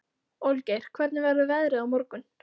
Olgeir, hvernig verður veðrið á morgun?